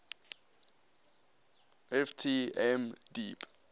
ft m deep